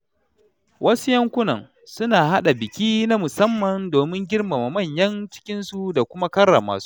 Wasu yankunan suna haɗa biki na musamman domin girmama manyan cikinsu da kuma karrama su.